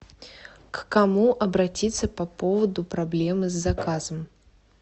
к кому обратиться по поводу проблемы с заказом